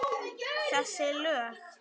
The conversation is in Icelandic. Þessi lög?